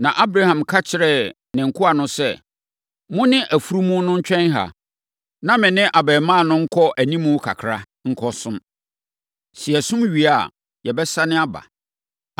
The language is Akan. Na Abraham ka kyerɛɛ ne nkoa no sɛ, “Mo ne afunumu no ntwɛn ha, na me ne abarimaa no nkɔ animu kakra, nkɔsom. Sɛ yɛsom wie a, yɛbɛsane aba.”